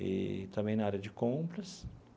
Eee também na área de compras.